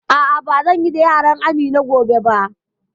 A'a, ba zan yi da yaran Amina gobe ba